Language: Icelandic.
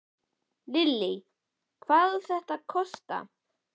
Lillý, hvað á þetta svo að kosta?